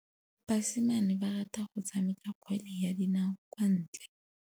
Basimane ba rata go tshameka kgwele ya dinaô kwa ntle.